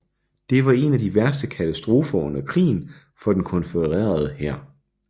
Det var en af de værste katastrofer under krigen for den konfødererede hær